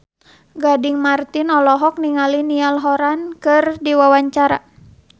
Gading Marten olohok ningali Niall Horran keur diwawancara